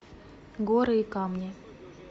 горы и камни